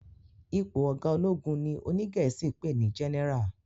Ipò ọgá ológun ní òní gèésì pé ní general